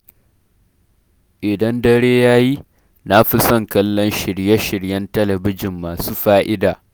Idan dare ya yi, na fi son kallon shirye-shiryen talabijin masu fa’ida.